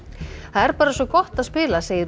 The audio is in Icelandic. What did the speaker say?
það er bara svo gott að spila segir